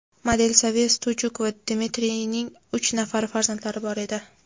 Model Sofiya Stujuk va Dmitriyning uch nafar farzandlari bor edi.